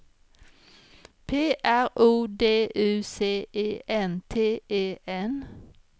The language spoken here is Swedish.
P R O D U C E N T E N